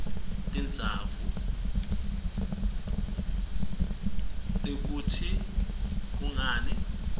tizatfu tekutsi kungani